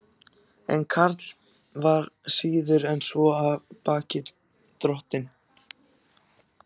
En Karl var síður en svo af baki dottinn.